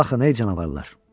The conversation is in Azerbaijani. Baxın ey canavarlar.